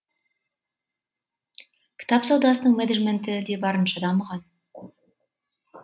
кітап саудасының менеджменті де барынша дамыған